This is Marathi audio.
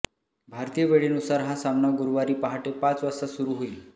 भारतीय वेळेनुसार हा सामना गुरुवारी पहाटे पाच वाजता सुरु होईल